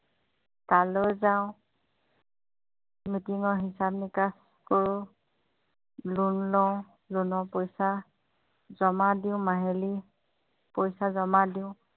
তালৈ যাওঁ meeting হিচাপ- নিকাচ কৰোঁ লোণ লওঁ লোণৰ পইচা জমা দিওঁঁ মাহিলী পইচা জমা দিওঁ